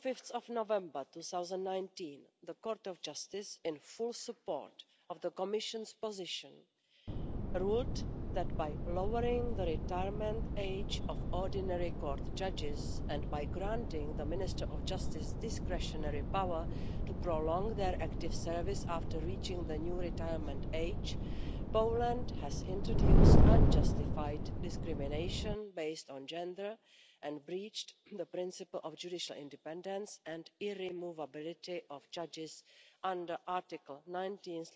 On 5 November 2019, the Court of Justice, in full support of the Commission's position, ruled that by lowering the retirement age of ordinary court judges and by granting the Minister of Justice discretionary power to prolong their active service after reaching the new retirement age, Poland had introduced unjustified discrimination based on gender and breached the principle of judicial independence and irremovability of judges under Article 19